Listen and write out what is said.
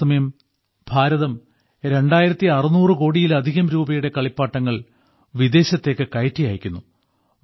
അതേസമയം ഭാരതം 2600 കോടിയിലധികം രൂപയുടെ കളിപ്പാട്ടങ്ങൾ വിദേശത്തേക്ക് കയറ്റി അയക്കുന്നു